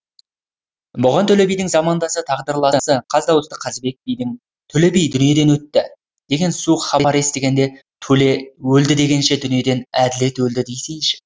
бұған төле бидің замандасы тағдырласы қаз дауысты қазыбек бидің төле би дүниеден өтті деген суық хабарды естігенде төле өлді дегенше дүниеден әділет өлді десейші